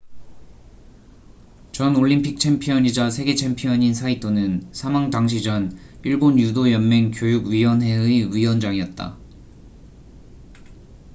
전 올림픽 챔피언이자 세계 챔피언인 saito는 사망 당시 전 일본 유도 연맹 교육 위원회의 위원장이었다